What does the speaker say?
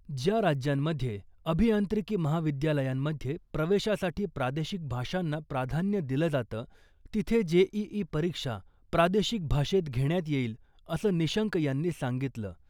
ज्या राज्यांमध्ये अभियांत्रिकी महाविद्यालयांमध्ये प्रवेशासाठी प्रादेशिक भाषांना प्राधान्य दिलं जातं , तिथे जेईई परीक्षा प्रादेशिक भाषेत घेण्यात येईल , असं निशंक यांनी सांगितलं .